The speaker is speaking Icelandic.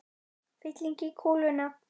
Fylling í kúluna.